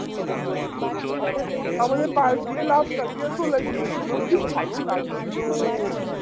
আমাদের পাস্ দিয়ে লাফ কাটিয়ে চলে গিয়েছিলো কি ভালো লাগছিলোও